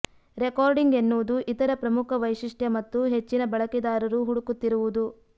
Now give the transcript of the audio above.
recording ಎನ್ನುವುದು ಇತರ ಪ್ರಮುಖ ವೈಶಿಷ್ಟ್ಯ ಮತ್ತು ಹೆಚ್ಚಿನ ಬಳಕೆದಾರರು ಹುಡುಕುತ್ತಿರುವುದು